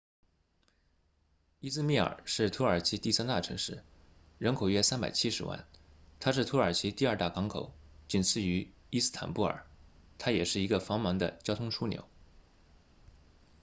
伊兹密尔是土耳其第三大城市人口约370万它是土耳其第二大港口仅次于伊斯坦布尔它也是一个繁忙的交通枢纽